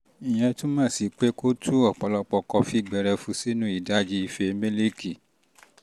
ìyẹn túmọ̀ sí pé kó o tú ọ̀pọ̀lọpọ̀ kọfí gbẹrẹfu sínú ìdajì ife mílíìkì